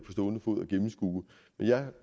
fod kan gennemskue men jeg